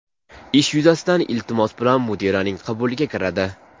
ish yuzasidan iltimos bilan mudiraning qabuliga kiradi.